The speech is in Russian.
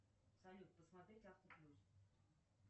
салют посмотреть автоплюс